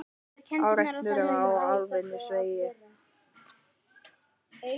Árekstur á Álftanesvegi